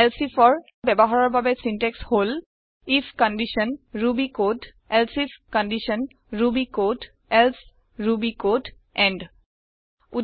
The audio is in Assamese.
এলছে ifৰ বয়ৱহাৰৰ বাবে চিন্টেক্স হল if condition Ruby code elsif condition Ruby code else Ruby code and